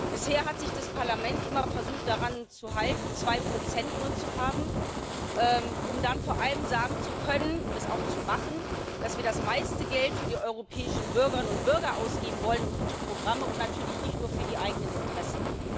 Bisher hat das Parlament immer versucht, sich daran zu halten, nur zwei Prozent zu haben, um dann vor allem sagen zu können und es auch zu machen dass wir das meiste Geld für die europäischen Bürgerinnen und Bürger ausgeben wollen und für gute Programme und natürlich nicht nur für die eigenen Interessen.